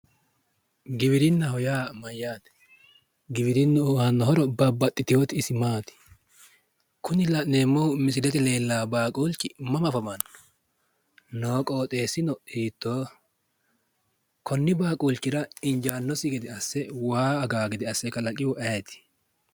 giwirinnaho yaa mayyaate? giwirinnu aano horo isi babbaxitinoti maati? kuni la'neemmohu misilete leellanno baaqulchi mama afamanno ? noo qooxeessino hiittooho? konni baaqulchira injaannosi gede asse waa aganno gede asse kalaqisihu ayeeti?